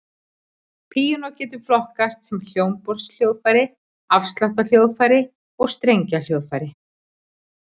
Píanó getur flokkast sem hljómborðshljóðfæri, ásláttarhljóðfæri og strengjahljóðfæri.